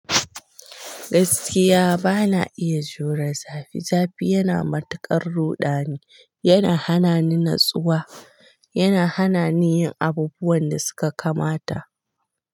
Gaskiya bana iya jure zafi. Zafi yana matuƙan ruɗani, yana hana ni natsuwa, yana hana ni yin abubuwan da suka kamata.